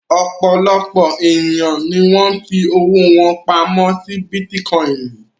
Ọ̀pọ̀lọpọ̀ ènìyàn ni wọ́n fi owó wọn pamọ́ si bítíkọ́ìnì